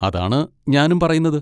അതാണ് ഞാനും പറയുന്നത്.